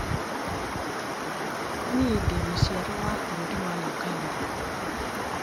Niĩ ndĩ mũciarwo wa bũrũri wa Ũganda